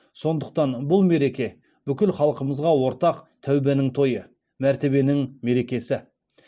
сондықтан бұл мереке бүкіл халқымызға ортақ тәубенің тойы мәртебенің мерекесі